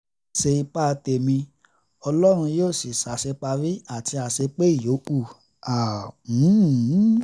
má a ṣe ipa tẹ̀mí ọlọ́run yóò sì ṣàṣeparí àti àṣepé ìyókù